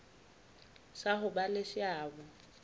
sa ho ba le seabo